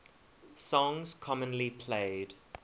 songs commonly played